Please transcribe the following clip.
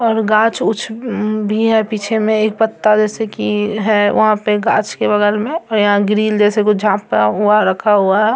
और गाछ-उछ भी है पीछे में एक पत्ता जैसे की है वहाँ पे गाछ के बगल में और यहाँ ग्रिल जैसे कुछ रखा हुआ है।